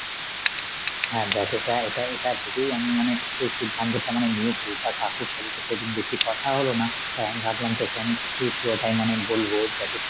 হ্যাঁ দেখ এটা এটা~ এটা ভেবেই আমি মানে এই সিদ্ধান্তটা মানে নিয়েছি, তা কাকুর সাথে সেদিন বেশি কথা হলো না. তাই আমি ভাবলাম এই পুরোটাই মানে বলবো যাতে তুই